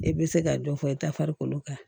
E bɛ se ka dɔ fɔ i ta farikolo kan